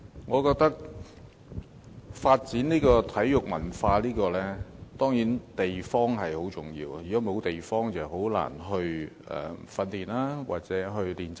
我認為要發展體育文化，地方當然很重要，如果沒有地方，便難以進行訓練或練習。